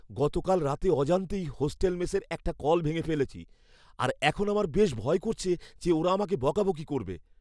গতকাল রাতে অজান্তেই হোস্টেল মেসের একটা কল ভেঙে ফেলেছি আর এখন আমার বেশ ভয় করছে যে ওরা আমাকে বকাবকি করবে।